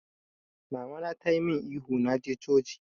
Mama na ta yi mun ihu na je coci jiya!